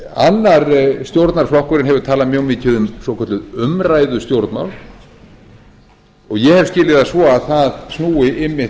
annar stjórnarflokkurinn hefur talað mjög mikið um svokölluð umræðustjórnmál og ég hef skilið það svo að það snúi